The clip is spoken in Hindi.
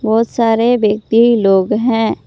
बहुत सारे व्यक्ति लोग हैं।